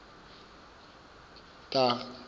taga